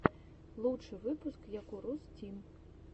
лучший выпуск якурус тим